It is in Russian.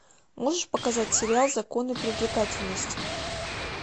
можешь показать сериал законы привлекательности